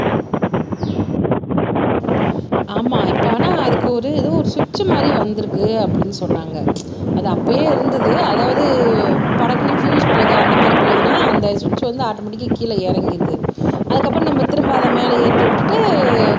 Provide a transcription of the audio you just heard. ஆமா இப்ப ஆனா அதுக்கு ஒரு ஏதோ ஒரு சுவிட்ச் மாதிரி வந்திருக்கு அப்படின்னு சொன்னாங்க அது அப்பயே இருந்தது அதாவது படக்குன்னு பியூஸ் போகுது அந்த மாதிரி போகுதுன்னா அந்த சுவிட்ச் வந்து ஆட்டோமேட்டிக் கீழே இறங்கிருது அதுக்கப்புறம் நம்ம திரும்ப அதை மேலே ஏத்தி விட்டுட்டு